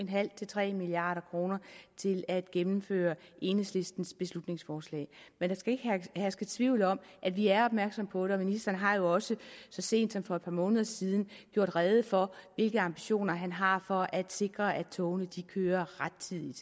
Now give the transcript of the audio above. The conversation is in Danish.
milliard kroner til at gennemføre enhedslistens beslutningsforslag men der skal ikke herske tvivl om at vi er opmærksomme på det og ministeren har jo også så sent som for et par måneder siden gjort rede for hvilke ambitioner han har for at sikre at togene kører rettidigt